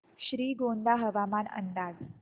श्रीगोंदा हवामान अंदाज